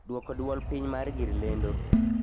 Dwoko dwol piny mar gir lendo?